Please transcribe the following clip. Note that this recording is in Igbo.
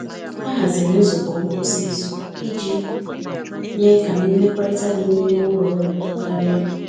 Ha haziri nzukọ ngwụsị izu iji mee ka mmekọrịta dị n’ime ụlọ ọrụ too karịa.